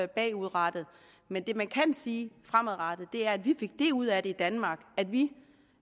bagudrettet men det man kan sige fremadrettet er at vi fik det ud af det i danmark at vi